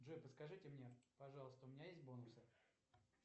джой подскажите мне пожалуйста у меня есть бонусы